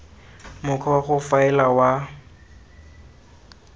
mokgwa wa go faela wa